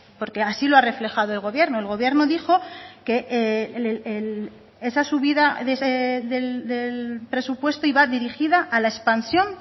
porque así lo ha reflejado el gobierno el gobierno dijo que esa subida del presupuesto iba dirigida a la expansión